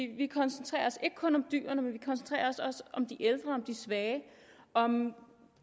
vi koncentrerer os ikke kun om dyrene vi koncentrerer os også om de ældre og de svage om